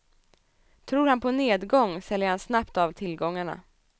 Tror han på nedgång säljer han snabbt av tillgångarna.